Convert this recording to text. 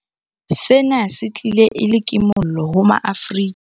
Sena se tlile e le kimollo ho maAfrika.